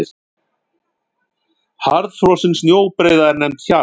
Harðfrosin snjóbreiða er nefnd hjarn.